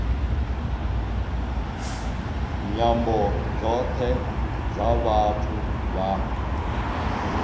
nyambo dzothe dza vhathu vha